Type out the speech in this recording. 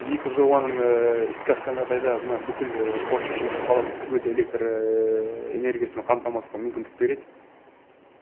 екі жобаның іске асқан жағдайда мына бүкіл форт шевченко қаласын түгелдей электр энергиясымен қамтамасқа мүмкіндік береді